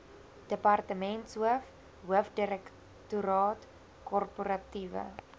departementshoof hoofdirektoraat korporatiewe